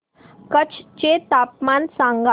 कच्छ चे तापमान सांगा